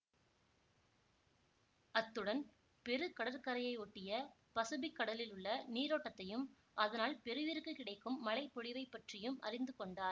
அத்துடன் பெரு கடற்கரையை ஒட்டிய பசுஃபிக் கடலில் உள்ள நீரோட்டத்தையும் அதனால் பெருவிற்கு கிடைக்கும் மழைப்பொழிவைப் பற்றியும் அறிந்து கொண்டார்